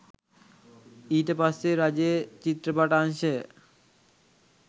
ඊට පස්සේ රජයේ චිත්‍රපට අංශය